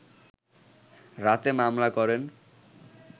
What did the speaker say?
রাতে মামলা করেন